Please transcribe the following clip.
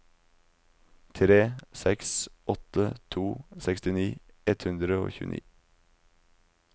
tre seks åtte to sekstini ett hundre og tjueni